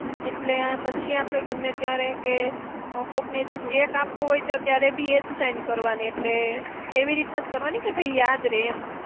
એટલે આ પછી આપણે ગમે ત્યારે કે, કોકને, cheque આપવો હોય ત્યારે બી એ જ sign કરવાની એટલે, એવી રીતના જ કરવાની કે ભૈ યાદ રેય એમ.